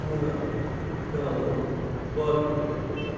Hammurapi, Qanun, Babil mədəniyyəti.